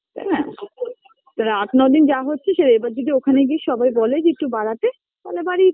আট নয় দিনই হয়ে যাচ্ছে